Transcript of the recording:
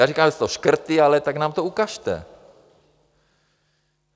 Já říkám, že jsou to škrty, ale tak nám to ukažte!